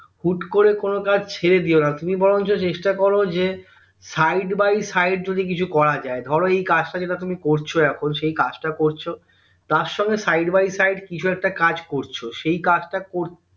হুট্ করে কোনো কাজ ছেড়ে দিয়োনা তুমি বরঞ্চ চেষ্টা করো যে side by side যদি কিছু করা যায় ধরো এই কাজটা যেটা তুমি করছো এখন সেই কাজটা করছো তার সঙ্গে side by side কিছু একটা কাজ করছো সেই কাজটা